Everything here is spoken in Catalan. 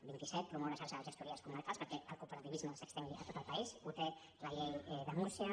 vint i set promoure xarxa de gestories comarcals perquè el cooperativisme s’estengui a tot el país ho té la llei de múrcia